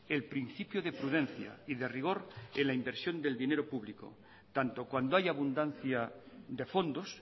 el principio de prudencia y de rigor en la inversión del dinero público tanto cuando haya abundancia de fondos